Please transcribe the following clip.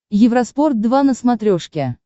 евроспорт два на смотрешке